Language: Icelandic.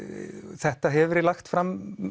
þetta hefur verið lagt fram